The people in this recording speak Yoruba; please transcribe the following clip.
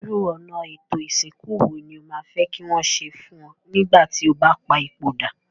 Irú ọ̀nà étò ìsìnkú wo ni o ma fe ki wón se fun o nígbà ti o ba pa ipòdà?